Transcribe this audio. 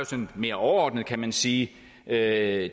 sådan mere overordnet kan man sige at